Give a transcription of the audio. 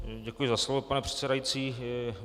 Děkuji za slovo, pane předsedající.